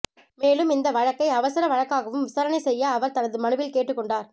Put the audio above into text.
மேலும் இந்த வழக்கை அவசர வழக்காகவும் விசாரணை செய்ய அவர் தனது மனுவில் கேட்டுக்கொண்டார்